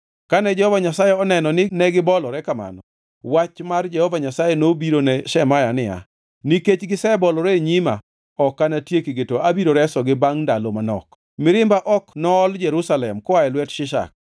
Kane Jehova Nyasaye oneno ni negibolore kamano, wach mar Jehova Nyasaye nobiro ne Shemaya niya, “Nikech gisebolore e nyima ok anatiekgi to abiro resogi bangʼ ndalo manok. Mirimba ok nool Jerusalem koa e lwet Shishak.